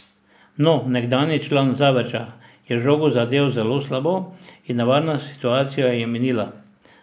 No, nekdanji član Zavrča je žogo zadel zelo slabo in nevarna situacija je minila.